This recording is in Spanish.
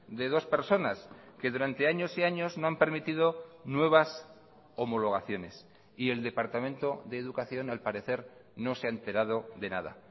de dos personas que durante años y años no han permitido nuevas homologaciones y el departamento de educación al parecer no se ha enterado de nada